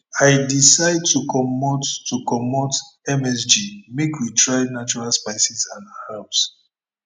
i decide to comot to comot msg make we try natural spices and herbs